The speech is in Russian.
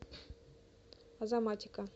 азаматика